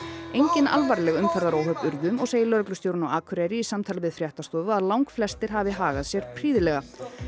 engin alvarleg umferðaróhöpp urðu og segir lögreglustjórinn á Akureyri í samtali við fréttastofu að langflestir hafi hagað sér prýðilega